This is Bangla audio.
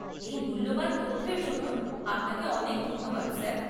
এই মূল্যবান তথ্যের জন্য আপনাকে অনেক ধন্যবাদ, স্যার।